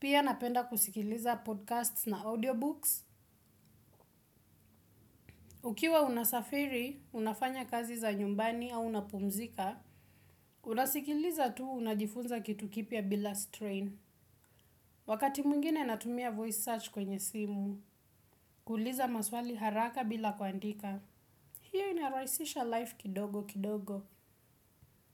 Pia napenda kusikiliza podcasts na audiobooks. Ukiwa unasafiri, unafanya kazi za nyumbani au unapumzika, unasikiliza tu unajifunza kitu kipya bila strain. Wakati mwingine natumia voice search kwenye simu, kuuliza maswali haraka bila kuandika. Hiyo inarahisisha life kidogo kidogo.